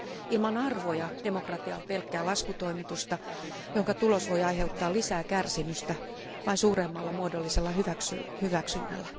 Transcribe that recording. Ilman arvoja demokratia on pelkkää laskutoimitusta, jonka tulos voi aiheuttaa lisää kärsimystä vain suuremmalla muodollisella hyväksynnällä.